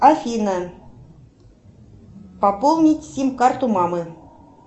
афина пополнить сим карту мамы